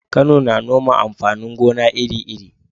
Kano na noma amfanin gona iri-iri.